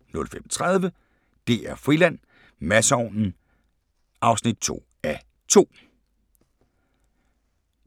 05:30: DR-Friland: Masseovnen (2:2)